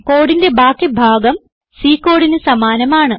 കോഡിന്റെ ബാക്കി ഭാഗം C കോഡിന് സമാനമാണ്